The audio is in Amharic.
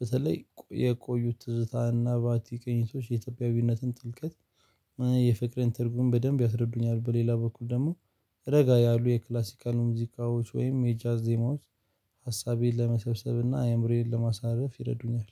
በተለይ የቆዩት ትዝታና ቫቲክ ቅኝቶች የኢትዮጵያዊነትን ጥልቀት የፍቅርን ትርጉም በደንብ ያስረዱኛል። በሌላ በኩል ደግሞ ረጋ ያሉ የክላሲካል ሙዚቃዎች ወይም የጃዝ ዜማዎች ሀሳቤን ለመሰብሰብና አእምሮዬን ለማሳረፍ ይረዱኛል